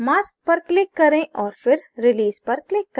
mask पर click करें और फिर release पर click करें